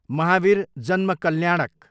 महावीर जन्म कल्याणक